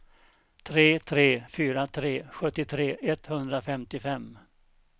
tre tre fyra tre sjuttiotre etthundrafemtiofem